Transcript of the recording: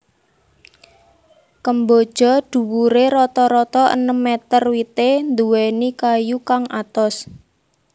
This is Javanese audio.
Kemboja dhuwuré rata rata enem meter wité nduwèni kayu kang atos